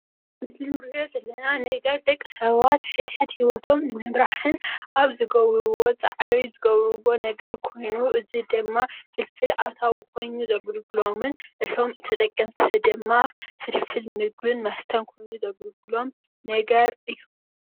እዚ እንሪኦ ዘለና ነገር ደቅሰባት ኣብ ሕድሕድ ሂወቶም ንምምራሕን ኣብ ዝገብርዎ ፃዕሪ ዝገብርዎ ነገር ኾይኑ እዚ ድማ ፍልፍል ኣታዊ ኾይኑ ዘገልግሎምን ነቶም ተጠቀምቲ ድማ ፍልፍል ምግብን መስተን ኾይኑ ዘገልግሎም ነገር እዩ።